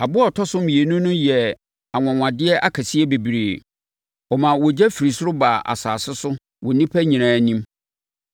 Aboa a ɔtɔ so mmienu yi yɛɛ anwanwadeɛ akɛseɛ bebree. Ɔmaa ogya firi ɔsoro baa asase so wɔ nnipa nyinaa anim.